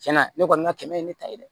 Cɛn na ne kɔni ka kɛmɛ ye ne ta ye dɛ